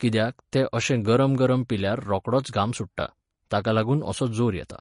कित्याक, तें अशें गरम गरम पिल्यार रोखडोच घाम सुट्टा. ताका लागून असो जोर येता.